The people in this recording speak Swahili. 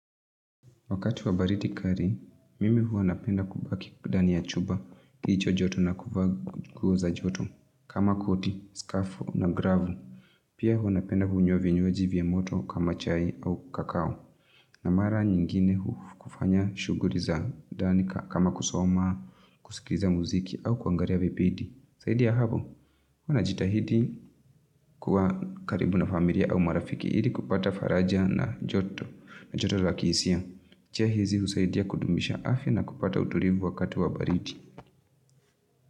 Wakati wa baridi kali, mimi huwa napenda kubaki ndani ya chumba, kilicho joto na kuvaa nguo za joto. Kama koti, skafu na gravu. Pia hua napenda kunywa vinywaji vya moto kama chai au kakao. Na mara nyingine kufanya shughuli za ndani kama kusoma, kuskiza mziki au kuangalia vipindi. Zaidi ya hapo, huwa najitahidi kuwa karibu na familia au marafiki ili kupata faraja na joto, joto la kihisia. Njia hizi husaidia kudumisha afya na kupata utulivu wakati wa baridi.